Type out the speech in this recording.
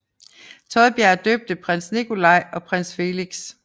Thodberg døbte både prins Nikolai og prins Felix